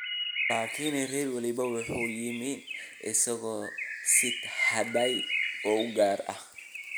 Laakin reer waliba waxa uu yimi isagoo sita hadyad u gaar ah.